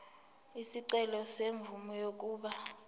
isicelo semvume yokuba